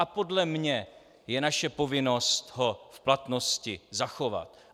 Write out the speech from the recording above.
A podle mě je naše povinnost ho v platnosti zachovat.